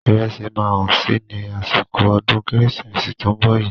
Ìrẹsì máa hán si ní àsìkò ọdún kérésìmesì tó ń bọ̀ yí.